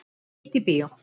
Nýtt í bíó